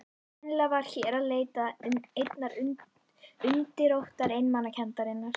Sennilega var hér að leita einnar undirrótar einmanakenndarinnar.